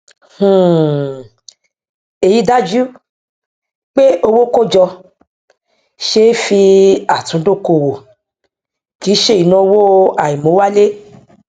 um èyí dájú pé owó kójọ ṣe é fi àtúndókòwò kì í ṣe ìnáowó àìmówálé